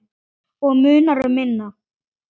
Og munar um minna.